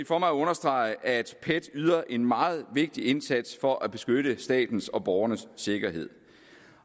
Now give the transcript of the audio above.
for mig at understrege at pet yder en meget vigtig indsats for at beskytte statens og borgernes sikkerhed